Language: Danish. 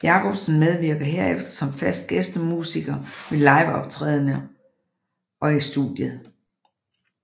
Jakobsen medvirker herefter som fast gæstemusiker ved liveoptæderne og i studiet